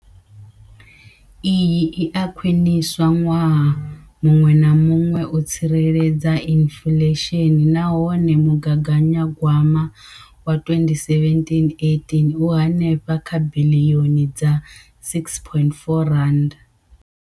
Iyi i a khwiniswa ṅwaha muṅwe na muṅwe u tsireledza inflesheni nahone mugaganyagwama wa 2017,18 u henefha kha biḽioni dza R6.4.